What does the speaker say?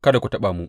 Kada ku taɓa mu!